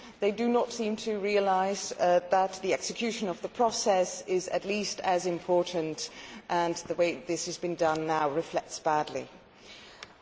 They do not seem to realise that the execution of the process is at least as important, and the way this has been done now reflects badly on them.